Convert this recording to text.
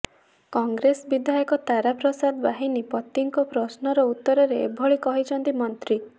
କଂଗ୍ରେସ ବିଧାୟକ ତାରା ପ୍ରସାଦ ବାହିନୀପତିଙ୍କ ପ୍ରଶ୍ନର ଉତ୍ତରରେ ଏଭଳି କହିଛନ୍ତି ମନ୍ତ୍ରୀ